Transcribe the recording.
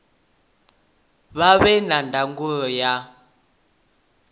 vha vhe na ndangulo ya